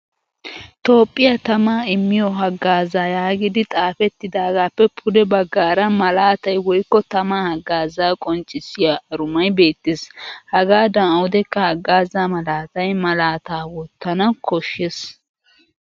Toophphiya tamaa immiyo hagaazayagidi xaafettidagaappe pude baggaara malaatay woykko tamaa haggaazaa qonccissiya arumay beettes. Hagaadan awudekka haggaaza malatiya malaataa wottana koshshes.